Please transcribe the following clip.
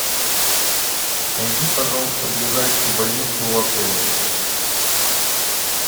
найди пожалуйста ближайшую больницу у отеля